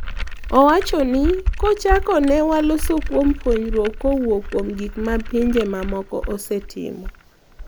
Owacho ni "kochako ne waloso kuom puonjruok kowuok kuom gik ma pinje mamoko osetimo